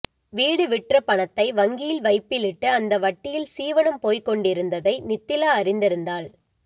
வீடு விற்ற பணத்தை வங்கியில் வைப்பிலிட்டு அந்த வட்டியில் சீவனம் போய்க் கொண்டிருந்ததை நித்திலா அறிந்திருந்தாள்